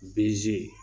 Bzi